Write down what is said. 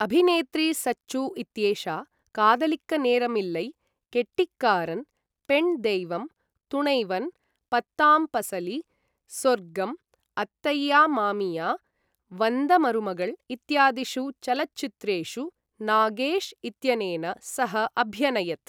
अभिनेत्री सच्चू इत्येषा कादलिक्क नेरम् इल्लै, केट्टिक्कारन्, पेण् दैवम्, तुणैवन्, पत्ताम् पसली, सोर्गम्, अत्तैय्या मामिया, वन्द मरुमगळ् इत्यादिषु चलच्चित्रेषु नागेश् इत्यनेन सह अभ्यनयत्।